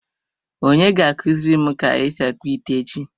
Onye ga akuziri m ka esi akpu ite echi?